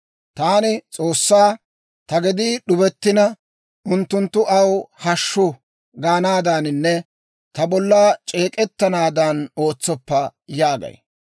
Taani S'oossaa, «Ta gedii d'ubettina, unttunttu, ‹Aw hashshu› gaanaadaaninne ta bolla c'eek'ettanaadan ootsoppa» yaagay.